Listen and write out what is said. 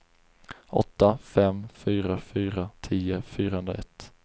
åtta fem fyra fyra tio fyrahundraett